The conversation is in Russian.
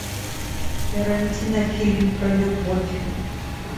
тарантино фильм про любовь